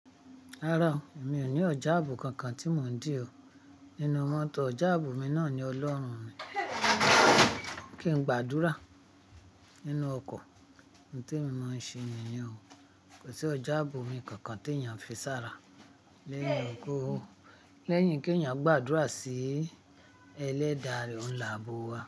Rárá, mi ò ní ọ̀jà àbo kankan tí mò ń dè o. Nínú mọ́tò, ọ̀jà àbo mi náà ni Ọlọ́run mi. Kí n gbàdúrà nínú ọkọ̀, nǹ tí mo máa ń ṣe nìyẹn o. Kò sí ọ̀jà àbo mi kankan tí èèyàn fi sára lẹ́yìn kó lẹ́yìn kí èèyàn gbàdúrà sí ẹlẹ́dààre oun nhi àbò wa.